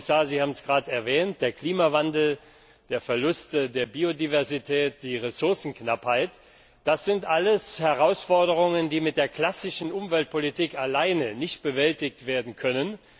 Herr Kommissar, Sie haben es gerade erwähnt, der Klimawandel, der Verlust der Biodiversität, die Ressourcenknappheit das sind alles Herausforderungen, die mit der klassischen Umweltpolitik allein nicht bewältigt werden können.